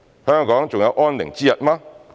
香港還有安寧之日嗎？